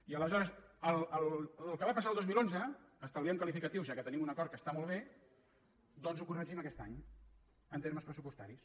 i aleshores el que va passar el dos mil onze estalviem qualificatius ja que tenim un acord que està molt bé doncs ho corregim aquest any en termes pressupostaris